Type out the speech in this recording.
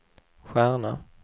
stjärna